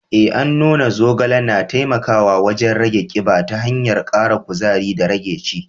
Eh, an nuna zogale na taimakawa wajen rage kiba ta hanyar kara kuzari da rage ci.